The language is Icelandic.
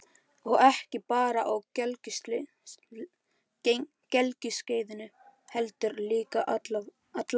Og ekki bara á gelgjuskeiðinu heldur líka alla ævi.